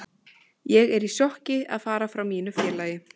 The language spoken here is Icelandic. Ég er í sjokki að fara frá mínu félagi.